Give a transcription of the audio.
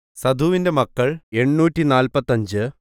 സഥൂവിന്റെ മക്കൾ എണ്ണൂറ്റിനാല്പത്തഞ്ച്